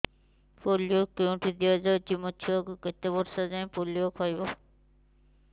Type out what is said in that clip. polio କେଉଁଠି ଦିଆଯାଉଛି ମୋ ଛୁଆ କେତେ ବର୍ଷ ଯାଏଁ ପୋଲିଓ ଖାଇବ